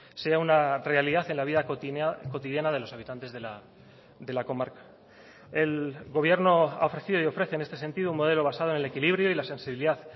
sea una realidad en la vida cotidiana de los habitantes de la comarca el gobierno ha ofrecido y ofrece en este sentido un modelo basado en el equilibrio y la sensibilidad